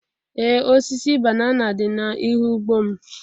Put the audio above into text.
Ee, osisi banana dị n'ihu ugbo m.